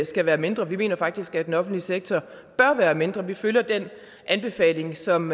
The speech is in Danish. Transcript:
skal være mindre vi mener faktisk at den offentlige sektor bør være mindre vi følger den anbefaling som